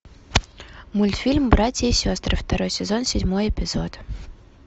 мультфильм братья и сестры второй сезон седьмой эпизод